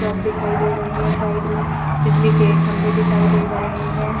दिखाई दे रहे हैं साइड में बिजली के खंबे दिखाई दे रहे हैं।